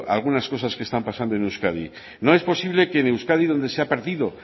algunas cosas que están pasando en euskadi no es posible que en euskadi donde se ha perdido